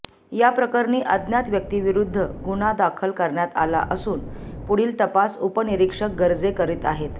या प्रकरणी अज्ञात व्यक्तीविरुध्द गुन्हा दाखल करण्यात आला असून पुढील तपास उपनिरीक्षक गर्जे करीत आहेत